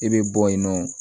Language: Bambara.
I bɛ bɔ yen nɔ